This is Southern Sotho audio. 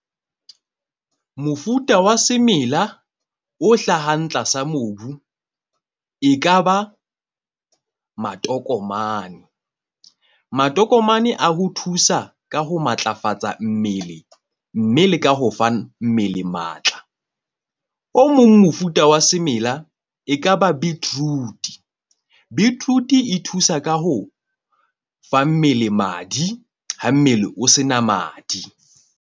Mofuta wa semela o hlahang tlasa mobu e kaba matokomane. Matokomane a ho thusa ka ho matlafatsa mmele. Mme le ka ho fa mmele matla. O mong mofuta wa semela e kaba beetroot. Beetroot-e e thusa ka ho fa mmele madi ha mmele o se na madi.